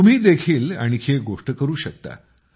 तुम्ही देखील आणखी एक गोष्ट करू शकता